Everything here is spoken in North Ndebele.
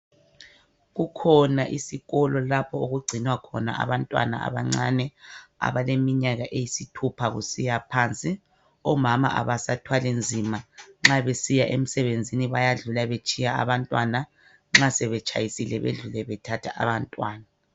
Kukhona isikolo lapjo okugcinwa khona abantwana abancane ,abaleminyaka eyisithupha kusiyaphansi .Omama abasathwali nzima ,nxa besiya emsebenzini bayadlula betshiya abantwana .Nxa sebetshayisile bedlule bethatha abantwana.